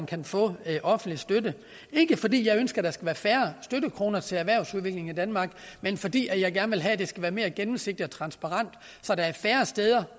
kan få offentlig støtte ikke fordi jeg ønsker at der skal være færre støttekroner til erhvervsudvikling i danmark men fordi jeg gerne vil have at det skal være mere gennemsigtigt transparent så der er færre steder